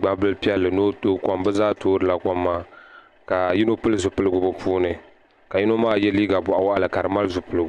gbambili piɛlli ni o tooi kom bi zaa toorila kom maa ka yino pili zipiligu bi puuni ka yino maa yɛ liiga boɣa waɣala ka di mali zipiligu